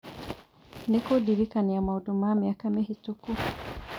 nĩ kũndirikania maũndũ ma mĩaka mĩhĩtũku